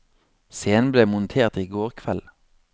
Scenen ble montert i går kveld.